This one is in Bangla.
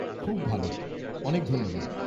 খুব ভাল! অনেক ধন্যবাদ।